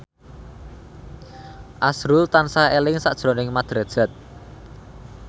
azrul tansah eling sakjroning Mat Drajat